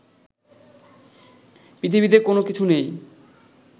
পৃথিবিতে কোনো কিছু নেই